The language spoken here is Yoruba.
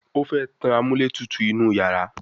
o fè tán amúlétutù inú iyàrá